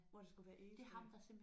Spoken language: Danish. Hvor der skulle være egetræer